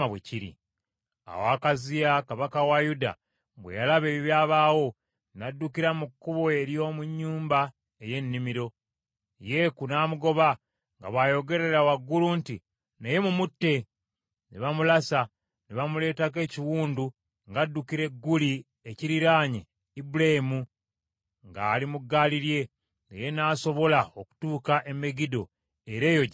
Awo Akaziya kabaka wa Yuda bwe yalaba ebyabaawo, n’addukira mu kkubo ery’omu nnyumba ey’ennimiro. Yeeku n’amugoba, nga bw’ayogerera waggulu nti, “Naye mumutte!” Ne bamulasa, ne bamuleetako ekiwundu ng’addukira e Guli ekiriraanye Ibuleamu, ng’ali mu ggaali lye, naye n’asobola okutuuka e Megiddo, era eyo gye yafiira.